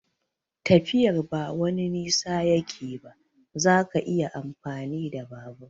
Tafiyar ba wani nisa yake ba, zaka iya amfani da babur.